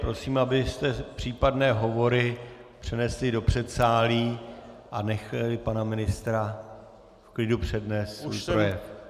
Prosím, abyste případné hovory přenesli do předsálí a nechali pana ministra v klidu přednést svůj projev.